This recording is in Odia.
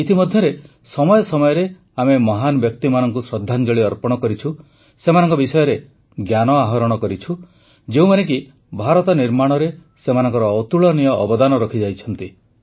ଇତିମଧ୍ୟରେ ସମୟ ସମୟରେ ଆମେ ମହାନ ବ୍ୟକ୍ତିମାନଙ୍କୁ ଶ୍ରଦ୍ଧାଞ୍ଜଳି ଅର୍ପଣ କରିଛୁ ସେମାନଙ୍କ ବିଷୟରେ ଜ୍ଞାନ ଆହରଣ କରିଛୁ ଯେଉଁମାନେ କି ଭାରତ ନିର୍ମାଣରେ ସେମାନଙ୍କର ଅତୁଳନୀୟ ଅବଦାନ ରଖିଯାଇଛନ୍ତି